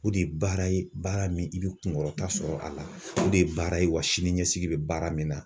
O de ye baara ye baara min i bɛ kunkɔrɔta sɔrɔ a la , o de ye baara ye wa sini ɲɛsigi bɛ baara min na.